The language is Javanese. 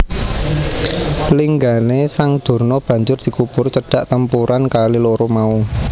Linggané sang Durna banjur dikubur cedhak tempuran kali loro mau